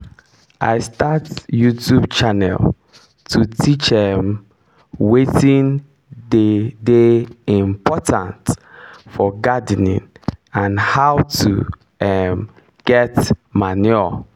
i start youtube channel to teach um watin dey dey important for gardening and how to um get manure